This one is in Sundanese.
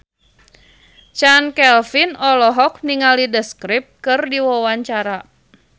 Chand Kelvin olohok ningali The Script keur diwawancara